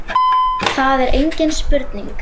Það er engin spurning